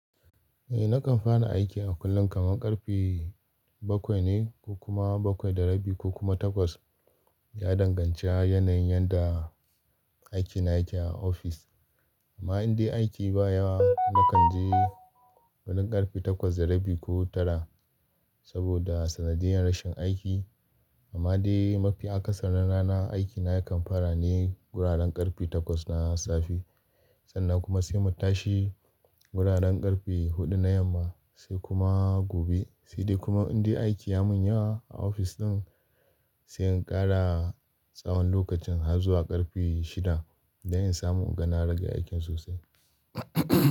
Eh nakan fara aiki a kullum kamar ƙarfe bakwai ne ko kuma bakwai da rabi ko kuma takwas. Ya danganci yanayin yadda aiki na yake a ofis. Amma in dai aiki baya, nakan je gurin ƙarfe takwas da rabi ko tara saboda sanadiyan rashin aiki. Amma dai mafi akasarin ranan aiki na yakan fara ne guraren ƙarfe takwas na safe sannan kuma sai mu tashi guraren ƙarfe huɗu na yamma sai kuma gobe. Sai dai kuma in dai aiki ya mun yawa a ofis ɗin, sai in ƙara tsawon lokacin har zuwa ƙarfe shida don in samu inga na rage aikin sosai.